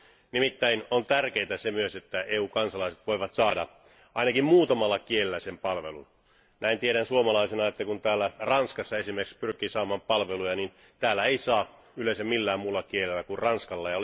Nimittäin on tärkeää myös, että EU kansalaiset voivat saada ainakin muutamalla kielellä sen palvelun. Näin tiedän suomalaisena, että kun täällä Ranskassa esimerkiksi pyrkii saamaan palveluja, niin täällä ei saa yleensä millään muulla kielellä kuin ranskalla.